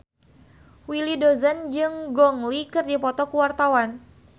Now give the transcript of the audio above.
Willy Dozan jeung Gong Li keur dipoto ku wartawan